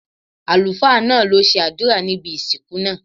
Àlùfáá náà lo ṣe àdúrà ní ibi ìsìnkú náà